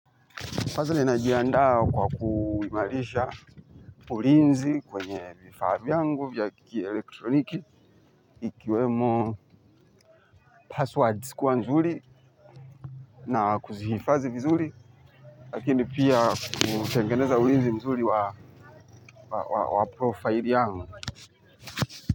Kwanza ninajiandaa kwa kuimarisha ulinzi kwenye vifaa vyangu vya kielektroniki, ikiwemo passwords kuwa nzuri na kuzihifadhi vizuri, lakini pia kutengeneza ulinzi mzuri wa profaili yangu.